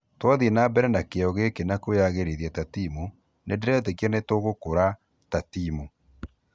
Twathiĩ na mbere na kĩo gĩkĩ na kwĩyagĩrĩrithia ta timu nĩndĩretíkia nĩtũgûkũra ta timu.